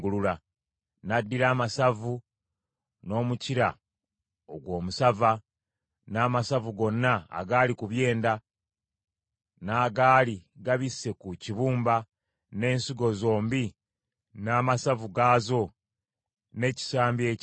N’addira amasavu n’omukira ogwo omusava, n’amasavu gonna agaali ku byenda, n’agaali gabisse ku kibumba, n’ensigo zombi n’amasavu gaazo, n’ekisambi ekya ddyo;